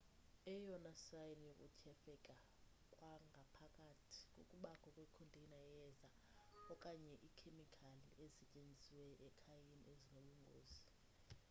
eyona sayini yokuthyefeka kwangaphakathi kukubakho kwe container yeyeza okanye ikhemikhali ezisetyenziswayo ekhayeni ezinobungozi